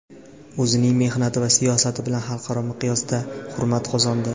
O‘zining mehnati va siyosati bilan xalqaro miqyosda hurmat qozondi.